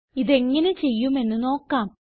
ഇതെങ്ങനെ ചെയ്യുമെന്ന് നോക്കാം